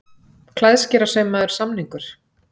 Klæðskerasaumaður samningur